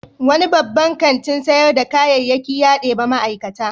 Wani babban kantin sayar da kayayyaki ya ɗebi ma'aikata.